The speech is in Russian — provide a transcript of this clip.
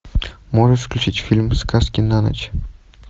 можешь включить фильм сказки на ночь